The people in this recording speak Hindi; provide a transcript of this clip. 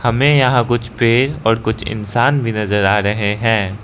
हमें यहां कुछ पेड़ और कुछ इंसान भी नजर आ रहे हैं।